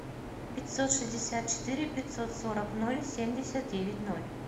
пятьсот шестьдесят четыре пятьсот сорок ноль семьдесят девять ноль